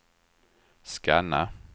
scanna